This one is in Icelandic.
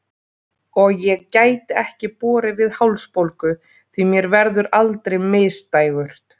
Og ég gæti ekki borið við hálsbólgu, því mér verður aldrei misdægurt.